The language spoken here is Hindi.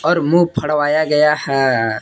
और मुंह फ़ड़वाया गया है।